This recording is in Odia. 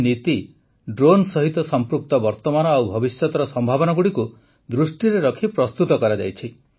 ଏହି ନୀତି ଡ୍ରୋନ୍ ସହିତ ସଂପୃକ୍ତ ବର୍ତ୍ତମାନ ଓ ଭବିଷ୍ୟତର ସମ୍ଭାବନାଗୁଡ଼ିକୁ ଦୃଷ୍ଟିରେ ରଖି ପ୍ରସ୍ତୁତ କରାଯାଇଛି